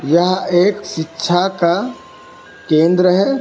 यह एक शिक्षा का केंद्र है।